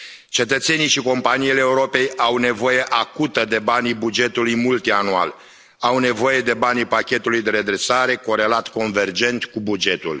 Cetățenii și companiile Europei au nevoie acută de banii bugetului multianual, au nevoie de banii pachetului de redresare, corelat convergent cu bugetul.